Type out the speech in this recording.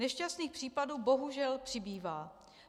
Nešťastných případů bohužel přibývá.